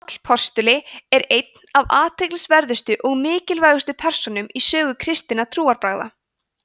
páll postuli er ein af athyglisverðustu og mikilvægustu persónum í sögu kristinna trúarbragða